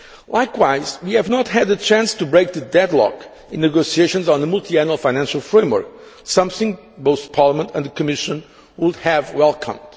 Likewise, we have not had the chance to break the deadlock in the negotiations on the multiannual financial framework, something both Parliament and the Commission would have welcomed.